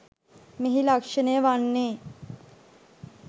මෙහි ලක්‍ෂණය වන්නේ